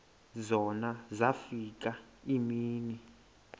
zona zafika iimini